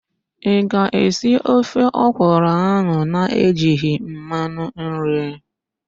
Ị ga-esi ofe ọkwụrụ ahụ na-ejighi mmanụ nri?